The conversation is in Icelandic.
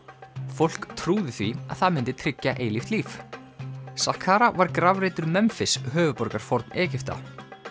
fólk trúði því að það myndi tryggja eilíft líf var grafreitur Memfis höfuðborgar Forn Egypta